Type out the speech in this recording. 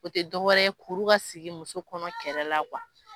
O te dɔwɛrɛ ye kuru ka sigi muso kɔnɔ kɛrɛ la kuwa